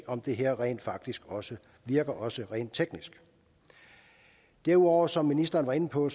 om det her rent faktisk også virker også rent teknisk derudover som ministeren var inde på